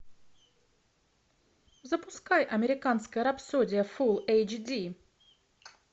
запускай американская рапсодия фул эйч ди